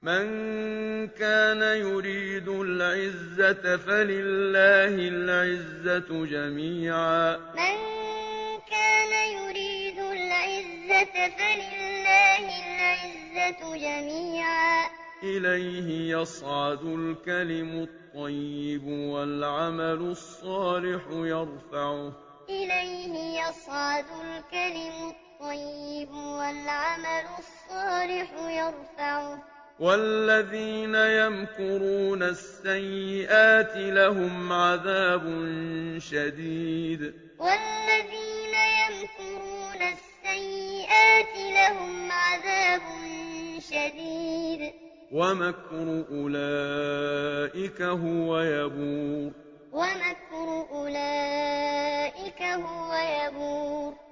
مَن كَانَ يُرِيدُ الْعِزَّةَ فَلِلَّهِ الْعِزَّةُ جَمِيعًا ۚ إِلَيْهِ يَصْعَدُ الْكَلِمُ الطَّيِّبُ وَالْعَمَلُ الصَّالِحُ يَرْفَعُهُ ۚ وَالَّذِينَ يَمْكُرُونَ السَّيِّئَاتِ لَهُمْ عَذَابٌ شَدِيدٌ ۖ وَمَكْرُ أُولَٰئِكَ هُوَ يَبُورُ مَن كَانَ يُرِيدُ الْعِزَّةَ فَلِلَّهِ الْعِزَّةُ جَمِيعًا ۚ إِلَيْهِ يَصْعَدُ الْكَلِمُ الطَّيِّبُ وَالْعَمَلُ الصَّالِحُ يَرْفَعُهُ ۚ وَالَّذِينَ يَمْكُرُونَ السَّيِّئَاتِ لَهُمْ عَذَابٌ شَدِيدٌ ۖ وَمَكْرُ أُولَٰئِكَ هُوَ يَبُورُ